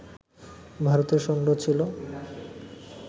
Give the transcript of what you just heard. ভারতের সংগ্রহ ছিল